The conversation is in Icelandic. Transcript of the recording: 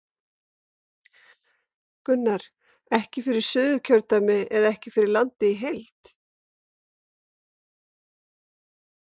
Gunnar: Ekki fyrir Suðurkjördæmi eða ekki fyrir landið í heild?